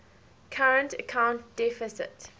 current account deficit